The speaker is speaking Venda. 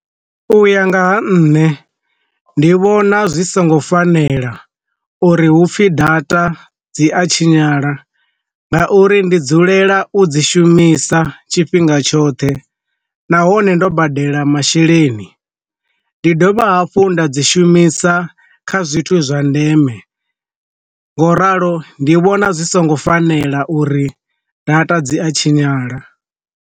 U ya nga ha nṋe, ndi vhona zwi songo fanela uri hu pfhi data dzi a tshinyala, nga uri ndi dzulela u dzi shumisa tshifhinga tshoṱhe na a hone ndo badela masheleni, ndi dovha hafhu nda dzi shumisa kha zwithu zwa ndeme, ngo ralo ndi vhona zwi songo fanela uri data dzi a tshinyala.